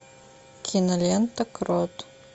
кинолента крот